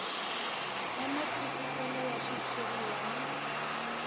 ya matwisiselo ya xitshuriwa na